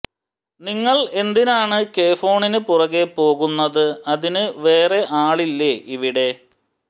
നിങ്ങൾ എന്തിനാണ് കെ ഫോണിന് പുറകെ പോകുന്നത് അതിന് വേറെ ആളില്ലേ ഇവിടെ